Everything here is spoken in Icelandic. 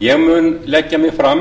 ég mun leggja mig fram